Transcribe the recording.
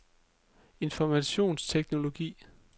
informationsteknologi